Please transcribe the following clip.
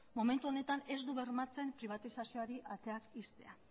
momentu honetan ez du bermatzen pribatizazioari ateak ixtea